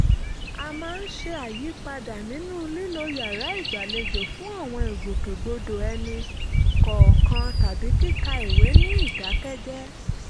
a máa ń ṣe àyípadà nínú lílo yàrá ìgbàlejò fún àwọn ìgbòkègbodò ẹni kọ̀ọ̀kan tàbí kíka ìwé ní ìdákẹ́jẹ́ẹ́